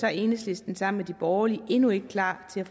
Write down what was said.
er enhedslisten sammen med de borgerlige endnu ikke klar til